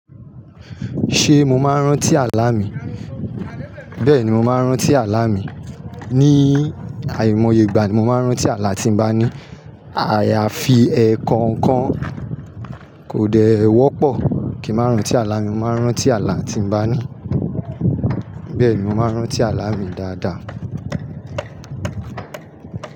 Ṣé mo máa rán tí àlà mi? Bẹ́ẹ̀ni, mo máa rán tí àlàlá mi. Ni àìmọye ìgbà mi, mo máa rán tí àlá tí bá ní àyàfi ẹ̀kọ̀ọ̀kan kò dẹ wọ́pọ̀ kí n máa rán tí àlà mi. Mo máa n rántí àlà tí n bá ní. Bẹ́ẹ̀ni, mo máa rán tí àlá mi dáadáa.